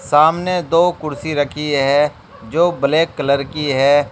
सामने दो कुर्सी रखी है जो ब्लैक कलर की है।